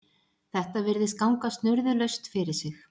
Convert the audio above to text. Þetta virðist ganga snurðulaust fyrir sig